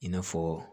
I n'a fɔ